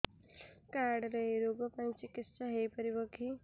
card ରେ ଏଇ ରୋଗ ପାଇଁ ଚିକିତ୍ସା ହେଇପାରିବ କି